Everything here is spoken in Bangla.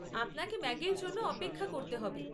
আপনাকে ম্যাগির জন্য অপেক্ষা করতে হবে।